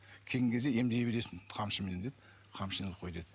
келген кезде емдей бересің қамшымен деп қамшыны іліп қой деді